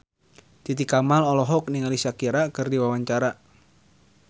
Titi Kamal olohok ningali Shakira keur diwawancara